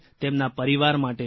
તેમના પરિવાર માટે છે